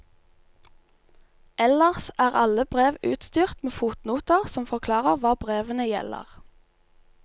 Ellers er alle brev utstyrt med fotnoter som forklarer hva brevene gjelder.